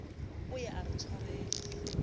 o ye a re tshwele